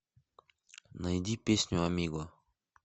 найди песню амиго